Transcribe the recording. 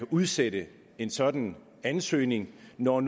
udsætte en sådan ansøgning når